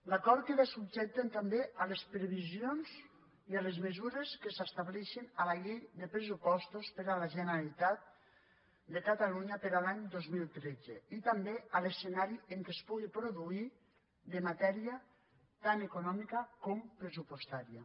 l’acord queda subjecte també a les previsions i a les mesures que s’estableixin a la llei de pressupostos per a la generalitat de catalunya per a l’any dos mil tretze i també a l’escenari en què es pugui produir de matèria tant econòmica com pressupostària